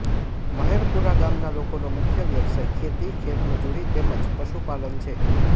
મહેરપુરા ગામના લોકોનો મુખ્ય વ્યવસાય ખેતી ખેતમજૂરી તેમ જ પશુપાલન છે